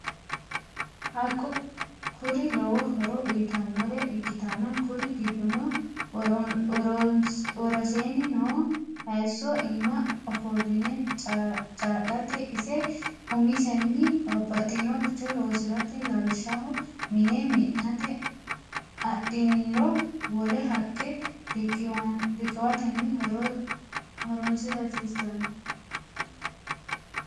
haqqe kuri lowo horo uyitannore ikkitanna kur giddono worosenni noo hayso iima ofolline caa'late, ise umisenni babbaxinoricho loosirate lawishshaho mine mi'nate adhiniro wole haqqe riqiwatenni horonsira hasiissanno.